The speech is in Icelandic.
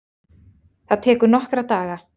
Það tekur nokkra daga.